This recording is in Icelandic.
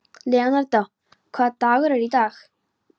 Leonardó, hvaða dagur er í dag?